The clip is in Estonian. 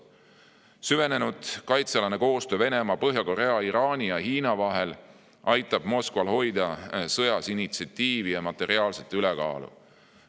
Süvenenud kaitsealane koostöö Venemaa, Põhja-Korea, Iraani ja Hiina vahel aitab Moskval hoida sõjas initsiatiivi ja materiaalset ülekaalu.